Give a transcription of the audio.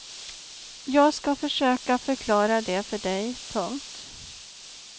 Jag ska försöka förklara det för dig. punkt